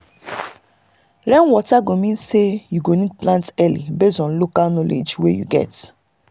rainwater go mean say you need plant early based on local knowledge wey you get